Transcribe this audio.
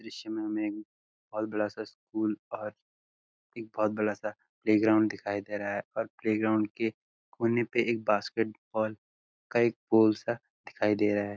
दृश्य में हमें एक बहोत बड़ा सा स्कूल और एक बहोत बड़ा सा प्लेग्राउड दिखाई दे रहा है और प्लेग्राउंड के कोने पे एक बास्केटबॉल का एक गोल सा दिखाई दे रहा है।